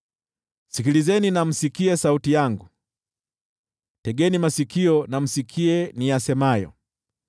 Sikilizeni msikie sauti yangu, tegeni masikio na msikie niyasemayo.